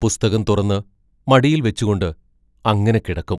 പുസ്തകം തുറന്ന് മടിയിൽ വെച്ചുകൊണ്ട് അങ്ങനെ കിടക്കും.